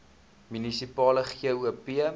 munisipale gop